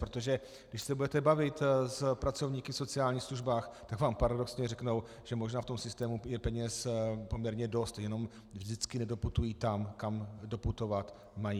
Protože když se budete bavit s pracovníky v sociálních službách, tak vám paradoxně řeknou, že možná v tom systému je peněz poměrně dost, jenom vždycky nedoputují tam, kam doputovat mají.